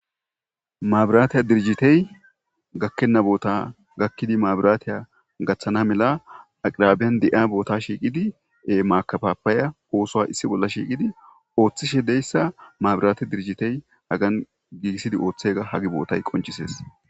Maabrate dirijjitay gakkibenna boota gakkiidi maabratey gaththana mala aqraaben de'a bootashi qidi he maakafappaya oosuwa issi bollashi giddi ooththishe de'issa maabrate dirijjitay agan gigisidi ooththayga hage bootay qonccises.